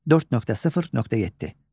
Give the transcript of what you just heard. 4.0.7.